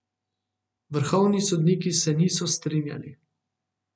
Vrhovni sodniki se niso strinjali.